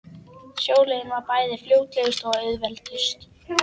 Sjóleiðin var bæði fljótlegust og auðveldust.